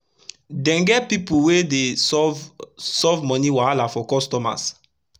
den get pipu wey dey solve solve moni wahala for customers